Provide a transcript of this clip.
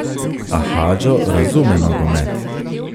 A Hadžo razume nogomet.